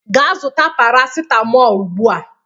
Gaa zụta paracetamol ugbu a.